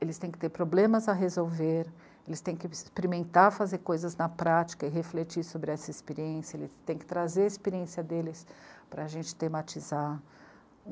Eles têm que ter problemas a resolver, eles têm que experimentar fazer coisas na prática e refletir sobre essa experiência, eles têm que trazer a experiência deles para a gente tematizar.